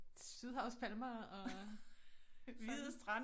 Sydhavspalmer og sådan